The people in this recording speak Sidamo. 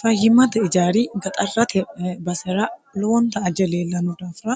fayyimate ijaari gaxarrate basera lowonta aje leellano daafira